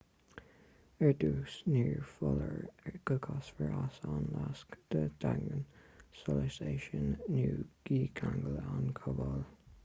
ar dtús ní foláir go gcasfar as an lasc don daingneán solais é sin nó dícheangail an cábla